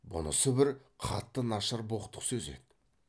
бұнысы бір қатты нашар боқтық сөз еді